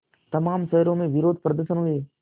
तमाम शहरों में विरोधप्रदर्शन हुए